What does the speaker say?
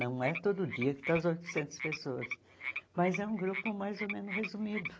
Não é todo dia que estão as oitocentas pessoas, mas é um grupo mais ou menos resumido.